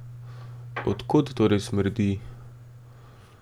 Od kod torej smrdi?